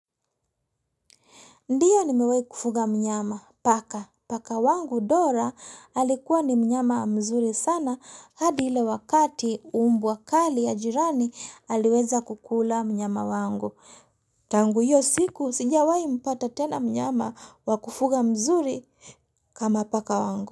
Ndiyo nimewai kufuga mnyama, paka. Paka wangu Dora alikuwa ni mnyama mzuri sana hadi ile wakati umbwa kali ya jirani aliweza kukula mnyama wangu. Tangu iyo siku sijawai mpata tena mnyama wakufuga mzuri kama paka wangu.